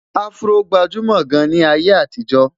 afro gbajumo gaan ní ayé àtijó